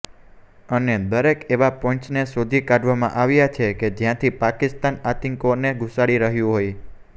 અને દરેક એવા પોઇન્ટને શોધી કાઢવામાં આવ્યા છે કે જ્યાંથી પાકિસ્તાન આતંકીઓને ઘુસાડી રહ્યું હોય